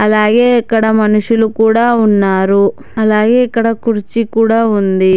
అలాగే ఇక్కడ మనుషులు కూడా ఉన్నారు అలాగే ఇక్కడ కుర్చీ కూడా ఉంది.